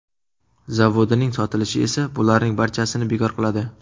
Zavodining sotilishi esa bularning barchasini bekor qiladi .